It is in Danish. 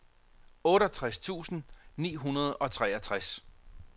otteogtres tusind ni hundrede og treogtres